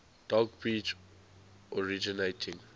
dog breeds originating